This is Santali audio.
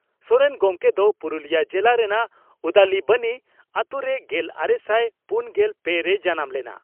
ᱥᱚᱨᱮᱱ ᱜᱚᱢᱠᱮ ᱫᱚ ᱯᱩᱨᱩᱞᱤᱭᱟᱹ ᱡᱮᱞᱟ ᱨᱮᱱᱟᱜ ᱩᱫᱟᱞᱤᱵᱚᱱᱤ ᱟᱹᱛᱩᱨᱮ ᱜᱮᱞᱟᱨᱮᱥᱟᱭ ᱯᱩᱱᱜᱮᱞ ᱯᱮ ᱨᱮᱭ ᱡᱟᱱᱟᱢ ᱞᱮᱱᱟ ᱾